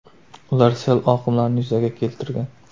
Ular sel oqimlarini yuzaga keltirgan.